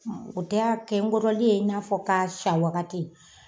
O de y'a kɛ n kɔrɔlen in n'a fɔ k'a san wagati